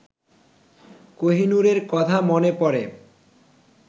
কোহিনূরের কথা মনে পড়ে